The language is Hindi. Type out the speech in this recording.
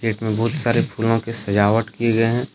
गेट में बहुत सारे फूलों के सजावट किए गए हैं।